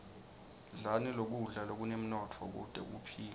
dlani kudla lokunemnotfo kute uphile